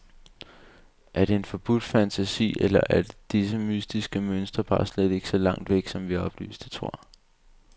Er det en forbudt fantasi, eller er dette mytiske mønster bare slet ikke så langt væk, som vi oplyste tror?